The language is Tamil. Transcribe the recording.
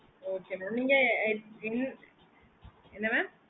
okay நீங்க என்ன mam